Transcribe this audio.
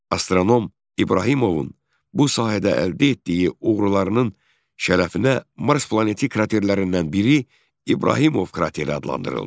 Astronom İbrahimovun bu sahədə əldə etdiyi uğurlarının şərəfinə Mars planeti kraterlərindən biri İbrahimov krateri adlandırıldı.